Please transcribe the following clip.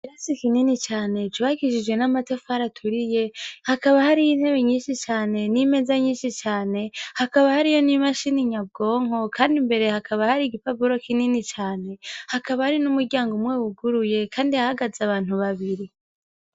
Ikirasi kinini cane cubakishije n'amatafari aturiye, hakaba hariyo intebe nyinshi cane n'imeza nyinshi cane, hakaba hariyo n'imashini nyabwonko kandi imbere hakaba hari igipapuro kinini cane, hakaba hari n'umuryango umwe wuguruye kandi hahagaze abantu babiri.